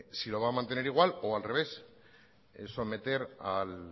lo va a mantener igual o al revés someter